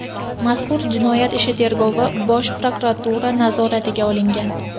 Mazkur jinoyat ishi tergovi Bosh prokuratura nazoratiga olingan.